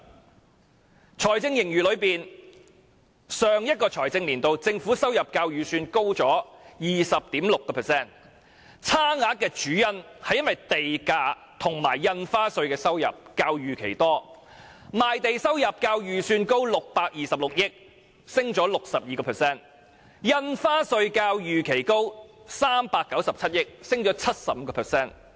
關於財政盈餘，政府在上一個財政年度的收入較預算高 20.6%， 差額的主因是地價及印花稅收入較預期多，賣地收入較預算高626億元，上升了 62%； 印花稅較預期高397億元，上升了 75%。